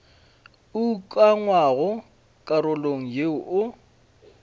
o ukangwago karolong yeo o